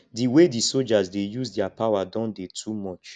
the way the soldiers dey use their power don dey too much